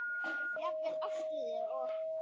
Jafnvel Ástríði og